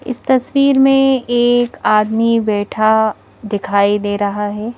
इस तस्वीर में एक आदमी बैठा दिखाई दे रहा है।